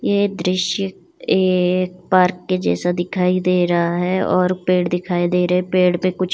ये दृश्य एक पार्क के जैसा दिखाई दे रहा है और पेड़ दिखाई दे रहे हैंपेड़ पे कुछ--